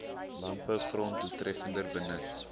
landbougrond doeltreffender benut